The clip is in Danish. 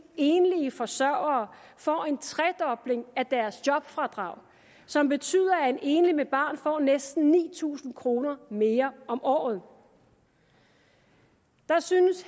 enlige forsørgere får en tredobling af deres jobfradrag som betyder at en enlig med barn får næsten ni tusind kroner mere om året der synes